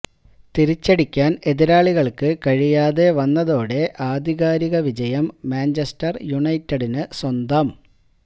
തിരിച്ചടിക്കന് എതിരാളികള്ക്ക് കഴിയാതെ വന്നതോടെ ആധികാരിക വിജയം മാഞ്ചസ്റ്റര് യുണൈറ്റഡിന് സ്വന്തം